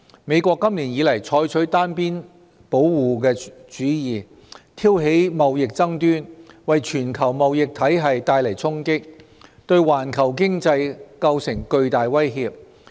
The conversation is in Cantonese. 美國今年以來採取單邊保護主義，挑起貿易爭端，為全球貿易體系帶來衝擊，對環球經濟構成巨大威脅。